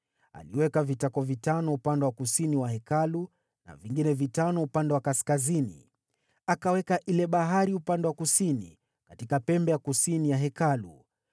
Aliweka vitako vitano upande wa kusini wa Hekalu na vingine vitano upande wa kaskazini. Akaweka ile bahari upande wa kusini, katika pembe ya kusini ya Hekalu.